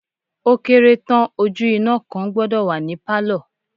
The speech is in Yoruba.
Ó kéré tán ojú iná kan gbọ́dọ̀ wà ní pálọ̀.